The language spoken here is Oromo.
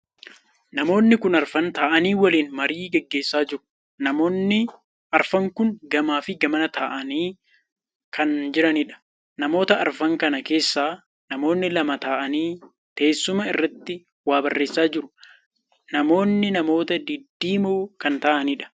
Namoonni kun arfan taa'anii waliin marii geggeessa jiru. Namoonni arfan kun gamaa fi gamana taa'aa kan jiraniidha. namoota arfan kana keessaa namoonni lama ta'anii teessuma irratti waa barreessaa jiru. namoonni namoota diddiimoo kan ta'aniidha